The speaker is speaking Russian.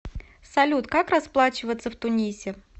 салют как расплачиваться в тунисе